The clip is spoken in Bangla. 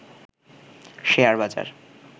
শেয়ার বাজার